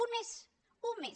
un més un més